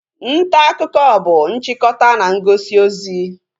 Ntaakụkọ bụ nchịkọta na ngosi ozi